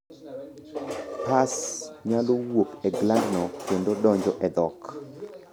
Pus nyalo wuok e glandno kendo donjo e dhok.